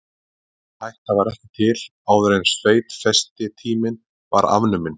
Þessi hætta var ekki til áður en sveitfestitíminn var afnuminn.